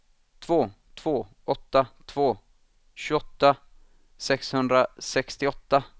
två två åtta två tjugoåtta sexhundrasextioåtta